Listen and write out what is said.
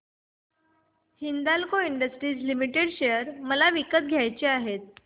Hindalco Industries Limited share मला विकत घ्यायचे आहेत